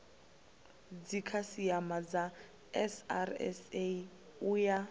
dzikhasiama dza srsa u ya